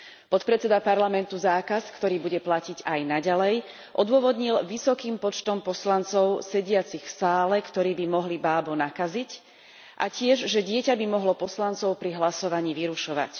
Podpredseda parlamentu zákaz, ktorý bude platiť aj naďalej, odôvodnil vysokým počtom poslancov sediacich v sále, ktorí by mohli bábo nakaziť, a tiež tým, že dieťa by mohlo poslancov pri hlasovaní vyrušovať.